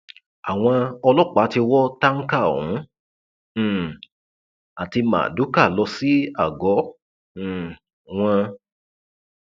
ṣéun ṣéun kùtì di afàdúràjagun háàámọ daddy gò ni wọn ń pè é báyìí